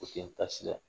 O tun ye taasira ye